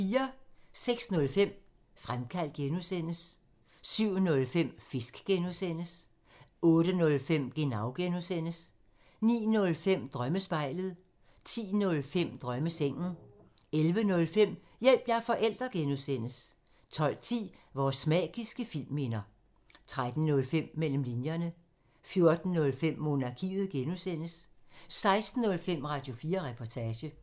06:05: Fremkaldt (G) 07:05: Fisk (G) 08:05: Genau (G) 09:05: Drømmespejlet 10:05: Drømmesengen 11:05: Hjælp – jeg er forælder! (G) 12:10: Vores magiske filmminder 13:05: Mellem linjerne 14:05: Monarkiet (G) 16:05: Radio4 Reportage